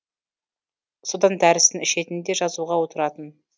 содан дәрісін ішетін де жазуға отыратын